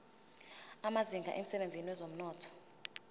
amazinga emsebenzini wezomnotho